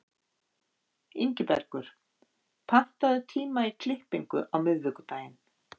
Ingibergur, pantaðu tíma í klippingu á miðvikudaginn.